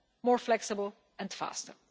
more flexibly and faster.